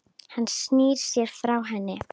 Hann snýr sér frá henni.